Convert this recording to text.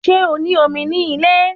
Ṣé o ní omi ní ilé